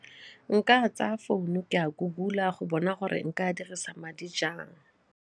Nka tsaya founu ke a Google-a go bona gore nka dirisa madi jang.